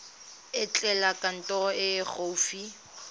etela kantoro e e gaufi